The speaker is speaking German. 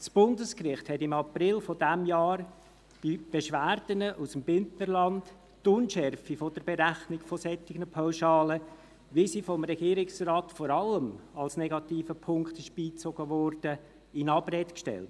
Das Bundesgericht hat im April dieses Jahres bei Beschwerden aus dem Bündnerland die Unschärfe der Berechnung solcher Pauschalen, wie sie vom Regierungsrat vor allem als negativer Punkt beigezogen wurde, in Abrede gestellt.